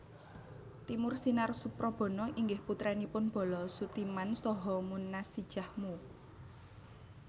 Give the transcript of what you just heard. Timur Sinar Suprabana inggih putranipun Bolo Soetiman saha Moenasijah Mu